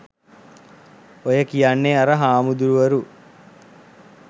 ඔය කියන්නේ අර හාමුදූරුවරු